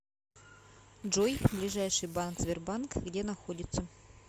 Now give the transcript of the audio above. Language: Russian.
джой ближайший банк сбербанк где находится